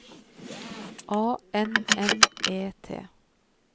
A N N E T